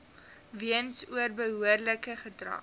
weens onbehoorlike gedrag